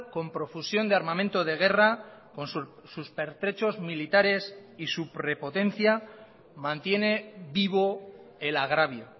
con profusión de armamento de guerra con sus pertrechos militares y su prepotencia mantiene vivo el agravio